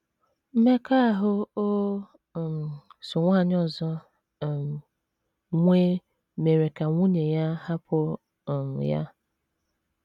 Mmekọahụ o um so nwanyị ọzọ um nwee mere ka nwunye ya hapụ um ya.